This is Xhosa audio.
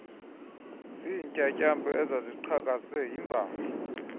zintyatyambo ezaziqhakaze yimibala